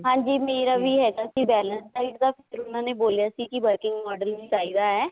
ਹਾਂਜੀ ਮੇਰਾ ਵੀ ਹੈਗਾ ਸੀ balanced diet ਦਾ ਉਹਨਾ ਨੇ ਬੋਲਿਆ ਸੀ working model ਚਾਹੀਦਾ ਹੈ